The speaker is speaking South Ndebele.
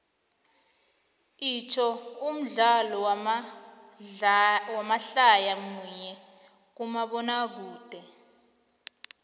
itsho umdlalo wamadlaya munye kumabonakude